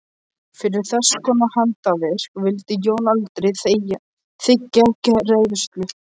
Fyrir þesskonar handarvik vildi Jón aldrei þiggja greiðslu.